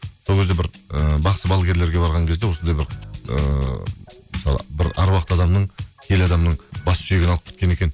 сол кезде бір ііі бақсы балгерлерге барған кезде осындай бір ыыы мысалы бір әруақты адамның киелі адамның бас сүйегін алып кеткен екен